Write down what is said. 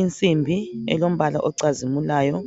insimbi elombala ocazimulayo